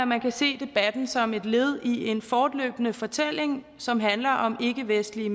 man kan se debatten som et led i en fortløbende fortælling som handler om ikkevestlige